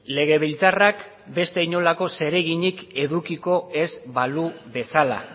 legebiltzarrak beste inolako zereginik edukiko ez balu bezala